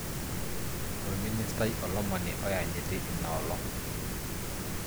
Orministai olomoni oyanyiti linaolong.